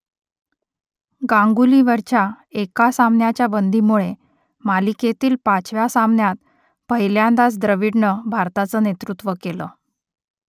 गांगुलीवरच्या एका सामन्याच्या बंदीमुळे मालिकेतील पाचव्या सामन्यात पहिल्यांदाच द्रविडनं भारताचं नेतृत्व केलं